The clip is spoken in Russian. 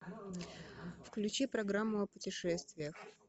включи программу о путешествиях